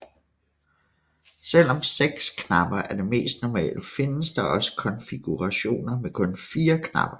Selvom seks knapper er det mest normale findes der også konfigurationer med kun fire knapper